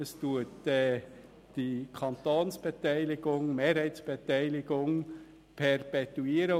Es perpetuiert die Mehrheitsbeteiligung des Kantons.